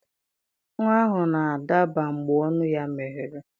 Nwa ahụ na-adaba mgbe ọnụ ya meghere.